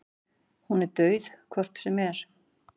Hún er dauð hvort sem er.